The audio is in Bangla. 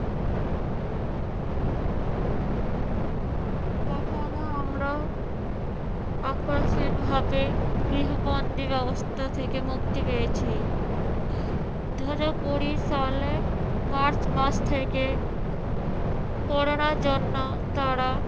কখনো আমারাও আকস্মিকভাবে গৃহবন্দি ব্যবস্থা থেকে মুক্তি পেয়েছি। দুহাজার কুড়ি সালে মার্চ মাস থেকে করোনার জন্য তারা